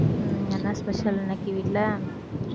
உம் என்ன special இன்னிக்கு வீட்டில